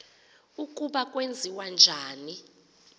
ukuba kwenziwa njani